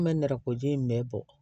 An bɛ nɛrɛ ko ji in bɛɛ bɔ